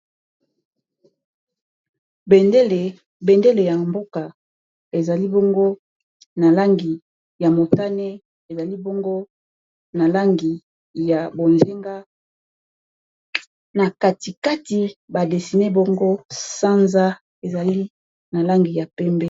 bendele ya mboka ezali bongo na langi ya motane ezali bongo na langi ya bozenga na katikati badesine bango sanza ezali na langi ya pembe